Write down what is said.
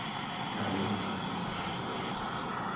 na u imvumvusa kha vunu